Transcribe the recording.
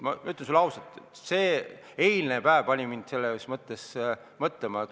Ma ütlen sulle ausalt, eilne päev pani mind mõtlema.